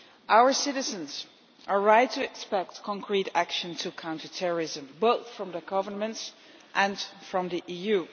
Our citizens are right to expect concrete action to counter terrorism, both from their governments and from the EU.